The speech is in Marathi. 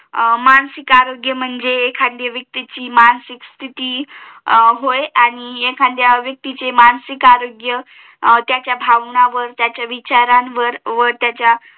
मानसिक आरोग्य म्हणजे एखाद्या व्यक्तीची मासिक स्तिथी होय आणि एखाद्या व्यक्तीची मानसिक आरोग्य त्याचा भावनांवर त्याच्या विचारांवर व त्याच्या